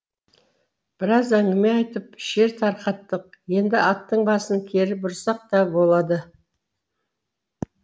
біраз әңгіме айтып шер тарқаттық енді аттың басын кері бұрсақ та болады